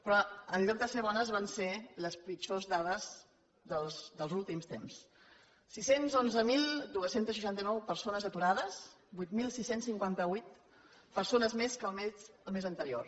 però en lloc de ser bones van ser les pitjors dades dels últims temps sis cents i onze mil dos cents i seixanta nou persones aturades vuit mil sis cents i cinquanta vuit persones més que el mes anterior